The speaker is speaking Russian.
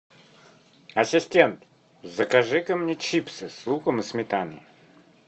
ассистент закажи ка мне чипсы с луком и сметаной